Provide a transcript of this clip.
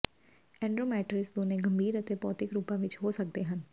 ਐਂਡੋਮੈਟ੍ਰ੍ਰਿਇਸ ਦੋਨੋ ਗੰਭੀਰ ਅਤੇ ਭੌਤਿਕ ਰੂਪਾਂ ਵਿਚ ਹੋ ਸਕਦੇ ਹਨ